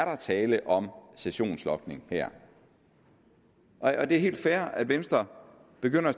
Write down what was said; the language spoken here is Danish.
er tale om sessionslogning her det er helt fair at venstre begynder at